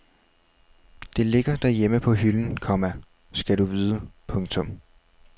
Det ligger derhjemme på hylden, komma skal du vide. punktum